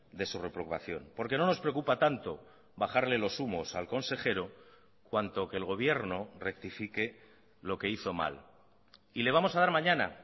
de su reprobación porque no nos preocupa tanto bajarle los humos al consejero cuanto que el gobierno rectifique lo que hizo mal y le vamos a dar mañana